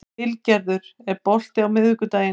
Vilgerður, er bolti á miðvikudaginn?